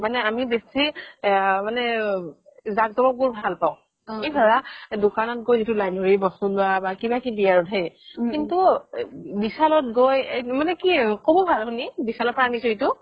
মানে আমি বেছি মানে আ জাক জমক বোৰ ভাল পাও এই ধৰা দুকান গৈ যিতো line ধৰি বস্তু লুৱা বা কিবা কিবি আৰু সেই কিন্তু ৱিশাল ত গৈ মানে কি ক'ব ভাল শুনি ৱিশাল পৰা আনিছো এইটো